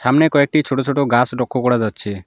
সামনে কয়েকটি ছোট ছোট গাছ লক্ষ করা যাচ্ছে।